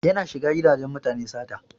Yana shiga gidajen mutane sata.